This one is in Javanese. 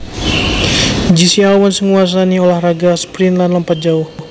Jesse Owens nguwasani ulah raga sprint lan lompat jauh